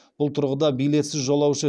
бұл тұрғыда билетсіз жолаушы